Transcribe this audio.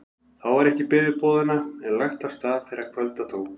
Þá var ekki beðið boðanna en lagt af stað þegar kvölda tók.